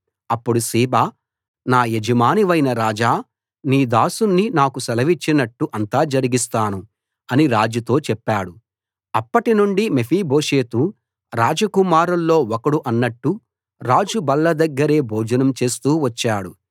అప్పుడు సీబా నా యజమానివైన రాజా నీ దాసుణ్ణి నాకు సెలవిచ్చినట్టు అంతా జరిగిస్తాను అని రాజుతో చెప్పాడు అప్పటి నుండి మెఫీబోషెతు రాజకుమారుల్లో ఒకడు అన్నట్టు రాజు బల్ల దగ్గరే భోజనం చేస్తూ వచ్చాడు